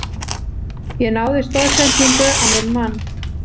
Ég náði stoðsendingu á minn mann.